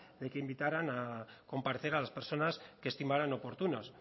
de que invitaran a comparecer a las personas que estimaran oportunas